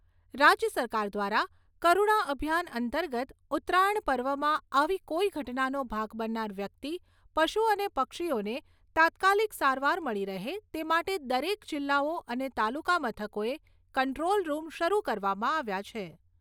રાજ્ય સરકાર દ્વારા કરૂણા અભિયાન અંતર્ગત ઉત્તરાયણ પર્વમાં આવી કોઈ ઘટનાનો ભાગ બનનાર વ્યક્તિ, પશુ અને પક્ષીઓને તાત્કાલીક સારવાર મળી રહે તે માટે દરેક જિલ્લાઓ અને તાલુકા મથકોએ કંટ્રોલ રૂમ શરૂ કરવામાં આવ્યા છે.